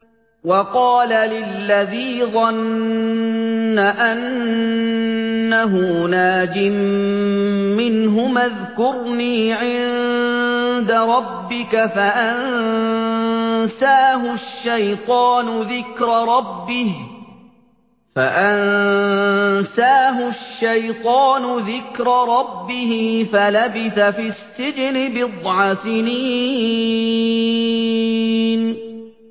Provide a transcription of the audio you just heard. وَقَالَ لِلَّذِي ظَنَّ أَنَّهُ نَاجٍ مِّنْهُمَا اذْكُرْنِي عِندَ رَبِّكَ فَأَنسَاهُ الشَّيْطَانُ ذِكْرَ رَبِّهِ فَلَبِثَ فِي السِّجْنِ بِضْعَ سِنِينَ